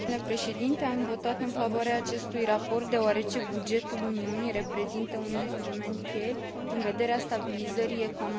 Am votat în favoarea acestui raport deoarece bugetul Uniunii reprezintă un instrument cheie în vederea stabilizării economiei.